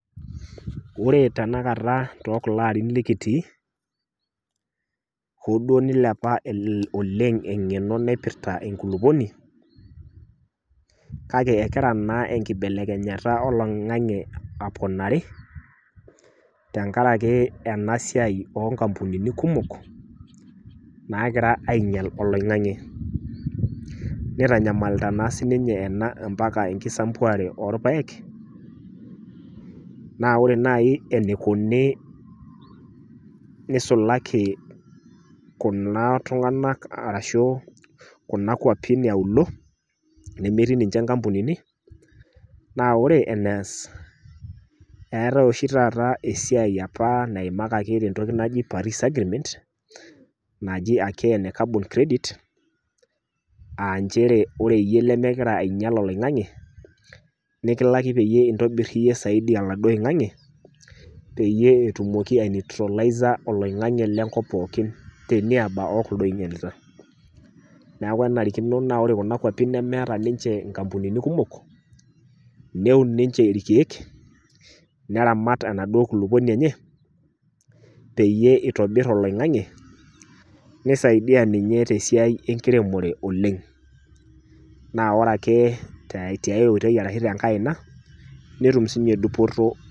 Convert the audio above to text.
Oore teenakata tokulo arin lekitii, hoo duo neilepa oleng eng'eno naipita enkulupuoni, kake egira naa enkibelekenyata olaing'ang'e aponari, tenkaraki eena siaai oo inkampunini kumok, nagira ainyial olaing'ang'e. Neitanyamalita naa sininye eena mpaka enkisampuare orpayek, naa oore naaji eneikoni neisulaki kuuna tung'anak arashu kuuna kwapin e iauluo nemetii ninche inkampunini, naa oore enias eeetae ooshi taata esiai aapa naimakaki tentoki naji Paris Agreement naaji aake eene carbon credit aah inchere oore iyie lemegira ainyial olaing'ang'e, nekilaki peyie intonir iiyie zaidi oladuo aing'ang'e, peyie itumoki aineutralizer olaing'ang'e le nkop pooki teniaba okuldo oinyialita. Niaku enarikino naa oore kuna kwapi nemeeta ninche inkampunini kumok, neun ninche irkeek, neun ninche irkeek, neramat enaduoo kulupuoni enye peyie eitobir olaing'ang'e, neisaidia ninye tesiai enkiremore oleng'. Naa oore aake tiae oitoi araki tiae aina netum sininche dupoto.